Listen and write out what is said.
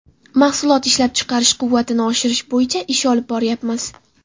Mahsulot ishlab chiqarish quvvatini oshirish bo‘yicha ish olib boryapmiz.